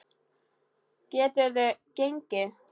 Geturðu gengið?